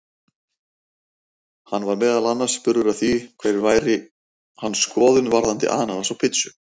Hann var meðal annars spurður að því hver væri hans skoðun varðandi ananas á pizzu?